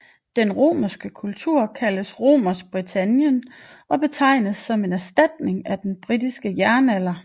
Den romerske kultur kaldes Romersk Britannien og betragtes som en erstatning af den britiske jernalder